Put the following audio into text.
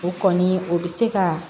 O kɔni o bɛ se ka